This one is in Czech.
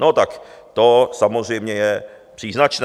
No tak to samozřejmě je příznačné.